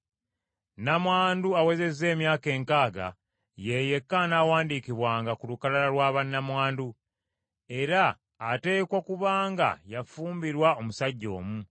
Nnamwandu awezezza emyaka enkaaga ye yekka anaawandiikibwanga ku lukalala lwa bannamwandu. Era ateekwa kuba nga yafumbirwa omusajja omu,